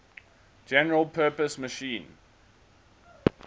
general purpose machine